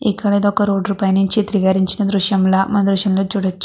ఇక్కడ ఒక రోడ్డు పై నించి చిత్రీకరించిన దృశ్యం లా మనం చూడచ్చు.